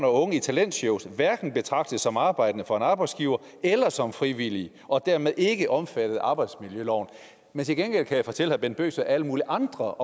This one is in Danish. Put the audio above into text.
unge i talentshows hverken betragtes som arbejdende for en arbejdsgiver eller som frivillige og dermed ikke er omfattet af arbejdsmiljøloven men til gengæld kan jeg fortælle herre bent bøgsted at alle mulige andre